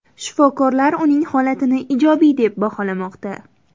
Shifokorlar uning holatini ijobiy deb baholamoqda.